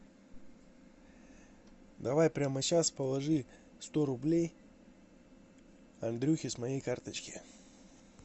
давай прямо сейчас положи сто рублей андрюхе с моей карточки